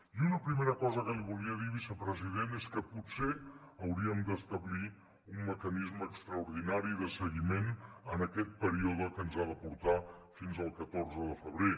i una primera cosa que li volia dir vicepresident és que potser hauríem d’establir un mecanisme extraordinari de seguiment en aquest període que ens ha de portar fins al catorze de febrer